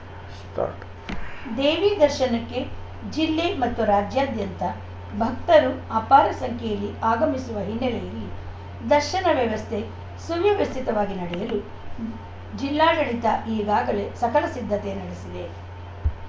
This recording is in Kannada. ಸ್ಟಾರ್ಟ್ ದೇವಿ ದರ್ಶನಕ್ಕೆ ಜಿಲ್ಲೆ ಮತ್ತು ರಾಜ್ಯಾದ್ಯಂತ ಭಕ್ತರು ಅಪಾರ ಸಂಖ್ಯೆಯಲ್ಲಿ ಆಗಮಿಸುವ ಹಿನ್ನೆಲೆಯಲ್ಲಿ ದರ್ಶನ ವ್ಯವಸ್ಥೆ ಸುವವ್ಯಸ್ಥಿತವಾಗಿ ನಡೆಯಲು ಜಿಲ್ಲಾಡಳಿತ ಈಗಾಗಲೇ ಸಕಲ ಸಿದ್ಧತೆ ನಡೆಸಿದೆ